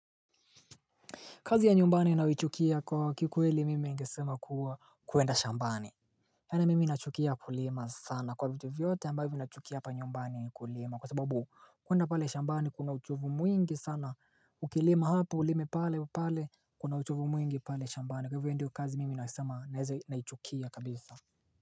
Kazi ya nyumbani nayoichukia kwa kikweli mimi ningesema kuwa kuenda shambani yani mimi nachukia kulima sana kwa vitu vyote ambavyo nachukia hapa nyumbani ni kulima kwa sababu kuenda pale shambani kuna uchovu mwingi sana ukilima hapa ulime pale pale kuna uchovu mwingi pale shambani kwa hivyo ndiyo kazi mimi nasema na naeza naichukia kabisa.